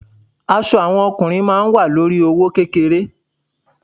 Àwọn aṣọ fún ọkùnrin ma wa lórí i owó kékeré.